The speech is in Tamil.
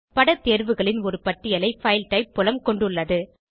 படத் தேர்வுகளின் ஒரு பட்டியலை பைல் டைப் புலம் கொண்டுள்ளது